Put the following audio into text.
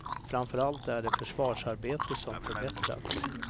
Framför allt är det försvarsarbetet som förbättrats.